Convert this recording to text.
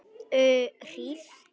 Um hríð.